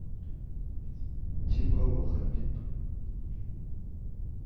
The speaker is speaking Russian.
тибау хабиб